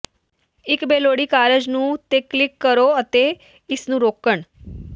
ਇੱਕ ਬੇਲੋੜੀ ਕਾਰਜ ਨੂੰ ਤੇ ਕਲਿੱਕ ਕਰੋ ਅਤੇ ਇਸ ਨੂੰ ਰੋਕਣ